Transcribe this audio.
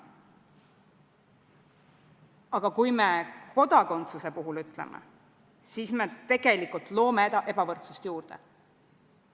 Aga kui me seda kodakondsuse puhul ütleme, siis me tegelikult loome ebavõrdsust juurde.